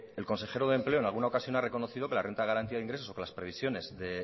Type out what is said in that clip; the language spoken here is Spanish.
el consejero de empleo en alguna ocasión ha reconocido que la renta de garantía de ingresos o que las previsiones de